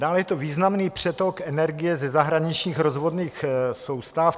Dále je to významný přetok energie ze zahraničních rozvodných soustav.